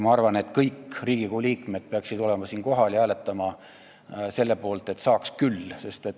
Ma arvan, et kõik Riigikogu liikmed peaksid olema siin kohal ja hääletama selle poolt, et saaks küll.